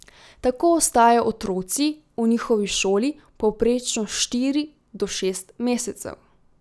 Tako ostajajo otroci v njihovi šoli povprečno štiri do šest mesecev.